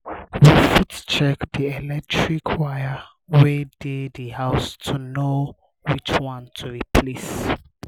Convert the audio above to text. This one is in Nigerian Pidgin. we fit check di electric wire wey dey di house to know which one to replace